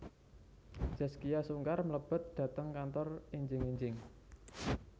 Zaskia Sungkar mlebet dhateng kantor enjing enjing